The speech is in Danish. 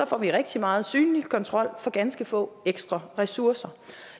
får vi rigtig meget synlig kontrol for ganske få ekstra ressourcer